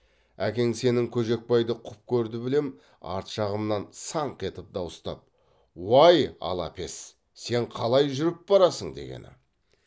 әкең сенің көжекбайды құп көрді білем арт жағымнан саңқ етіп дауыстап уай алапес сен қалай жүріп барасың дегені